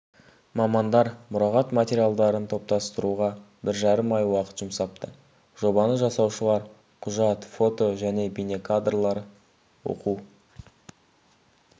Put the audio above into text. мамандар мұрағат материалдарын топтастыруға бір жарым ай уақыт жұмсапты жобаны жасаушылар құжат фото және бейнекадрлер оқу